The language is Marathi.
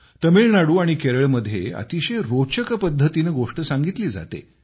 तमिळनाडू आणि केरळमध्ये अतिशय रोचक पद्धतीने गोष्ट सांगितली जाते